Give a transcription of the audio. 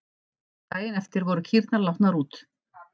Daginn eftir voru kýrnar látnar út.